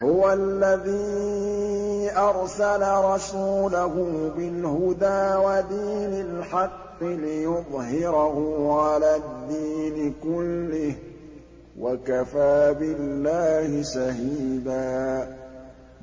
هُوَ الَّذِي أَرْسَلَ رَسُولَهُ بِالْهُدَىٰ وَدِينِ الْحَقِّ لِيُظْهِرَهُ عَلَى الدِّينِ كُلِّهِ ۚ وَكَفَىٰ بِاللَّهِ شَهِيدًا